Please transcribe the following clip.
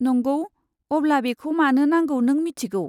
नंगौ, अब्ला बेखौ मानो नांगौ नों मिथिगौ।